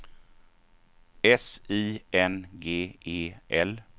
S I N G E L